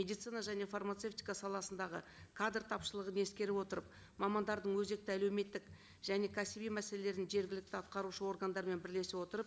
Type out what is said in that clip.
медицина және фармацевтика саласындағы кадр тапшылығын ескере отырып мамандардың өзекті әлеуметтік және кәсіби мәселелерін жергілікті атқарушы органдармен бірлесе отырып